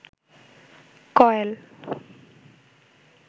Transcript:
coil